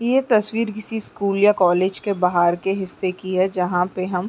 ये तस्वीर किसी स्कूल या कॉलेज के बाहर के हिस्से की है जहाँ पे हम --